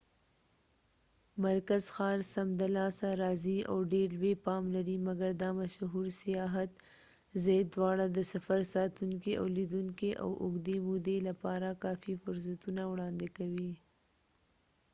مرکز ښار سمدلاسه رازې او ډير لوې پام لرې مګر دا مشهور سیاحت ځای دواړه د سفر ساتونکي او لیدونکي د اوږدې مودې لپاره کافی فرصتونه وړاندې کوي